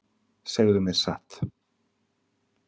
Segðu mér satt.